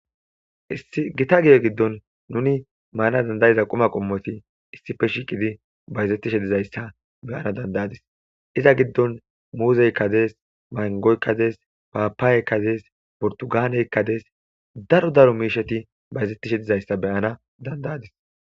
Issi gita giye giddon nuni maana dandayiza quma qommoti issife shiiqidi bayzetishe dizayssa beyana dandayadis iza giddon muuzey kadees mangoy kadees paapaaye kadees portugaaney kadees daro daro miisheti bayzettishe dizayssa beyana dandayadis.